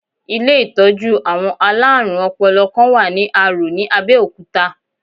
Ilé-ìtọ́jú àwọn aláàrùn ọpọlọ̀ kan wà ní Árò ní Abẹ́òkútà.